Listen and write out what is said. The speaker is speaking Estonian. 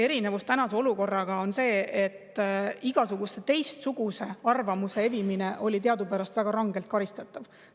Erinevus tänase olukorraga on see, et igasuguse teistsuguse arvamuse evimine oli teadupärast väga rangelt karistatav.